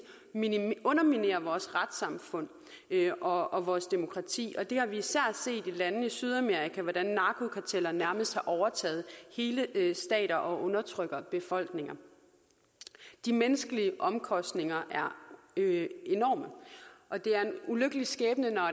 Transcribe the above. underminere vores retssamfund og og vores demokrati især i landene i sydamerika hvordan narkokarteller nærmest har overtaget hele stater og undertrykker befolkninger de menneskelige omkostninger er enorme og det er en ulykkelig skæbne når